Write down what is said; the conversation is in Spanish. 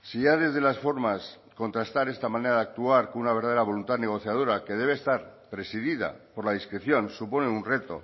si ya desde las formas contrastar esta manera de actuar con una verdadera voluntad negociadora que debe estar presidida por la discreción suponen un reto